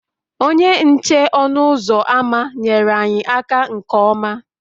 Onye nche ọnụ ụzọ ámá nyeere anyị aka nke ọma